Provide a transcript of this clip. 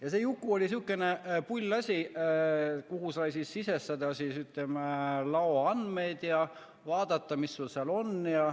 Ja see Juku oli selline pull asi, kuhu sai sisestada laoandmeid ja vaadata, mis sul seal on.